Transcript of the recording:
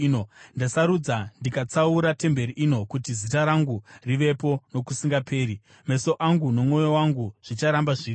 Ndasarudza ndikatsaura temberi ino kuti Zita rangu rivepo nokusingaperi. Meso angu nomwoyo wangu zvicharamba zviripo.